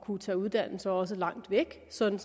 kunne tage uddannelse og også langt væk sådan